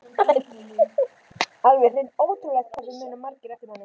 Alveg hreint ótrúlegt hvað það muna margir eftir manni!